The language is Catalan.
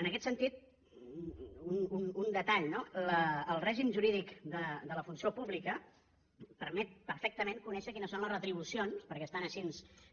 en aquest sentit un detall no el règim jurídic de la funció pública permet perfectament conèixer quines són les retribucions perquè estan així